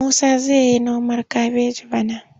Musa zai yi noman kabeji bana.